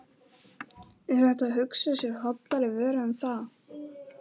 Er hægt að hugsa sér hollari vöru en það?